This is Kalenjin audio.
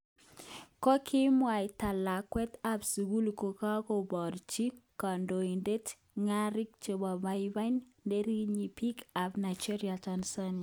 Kokimwaita lakwet ab sukul kokakoborchi konetindet ngarik chemoboiman ,nerekyin peek kap Nigeria Tanzania